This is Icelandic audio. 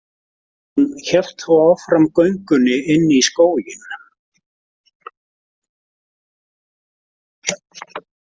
Hún hélt þó áfram göngunni inn í skóginn.